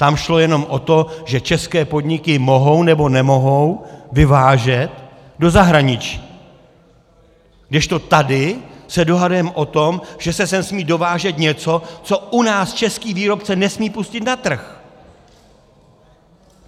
Tam šlo jenom o to, že české podniky mohou nebo nemohou vyvážet do zahraničí, kdežto tady se dohadujeme o tom, že se sem smí dovážet něco, co u nás český výrobce nesmí pustit na trh.